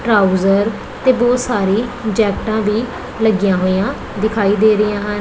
Trouser ਤੇ ਬਹੁਤ ਸਾਰੀ ਜੈਕਟਾ ਵੀ ਲੱਗੀਆਂ ਹੋਈਆਂ ਦਿਖਾਈ ਦੇ ਰਹੀਆਂ ਹਨ।